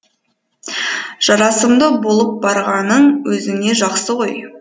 жарасымды болып барғаның өзіңе жақсы ғой